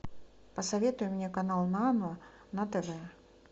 посоветуй мне канал нано на тв